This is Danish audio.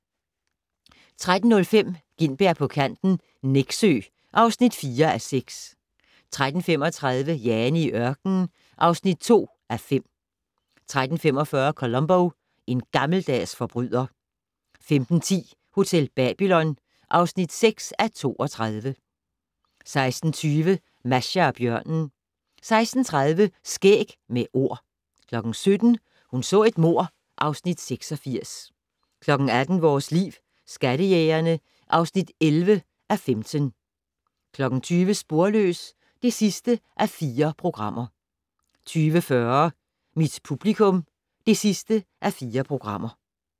13:05: Gintberg på kanten - Nexø (4:6) 13:35: Jane i ørkenen (2:5) 13:45: Columbo: En gammeldags forbryder 15:10: Hotel Babylon (6:32) 16:20: Masha og bjørnen 16:30: Skæg med Ord 17:00: Hun så et mord (Afs. 86) 18:00: Vores Liv: Skattejægerne (11:15) 20:00: Sporløs (4:4) 20:40: Mit publikum (4:4)